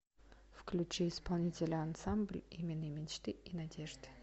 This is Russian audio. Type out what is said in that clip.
включи исполнителя ансамбль имени мечты и надежды